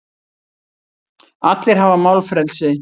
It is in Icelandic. Allir hafa málfrelsi.